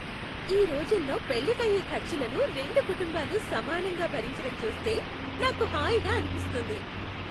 ఈ రోజుల్లో పెళ్లికయ్యే ఖర్చులను రెండు కుటుంబాలు సమానంగా భరించటం చూస్తే నాకు హాయిగా అనిపిస్తుంది.